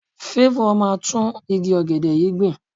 Favour máa gbin tún igi ọ̀gẹ̀dẹ̀ yìí gbìn.